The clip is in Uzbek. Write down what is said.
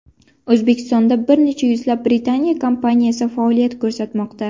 O‘zbekistonda bir necha yuzlab Britaniya kompaniyasi faoliyat ko‘rsatmoqda.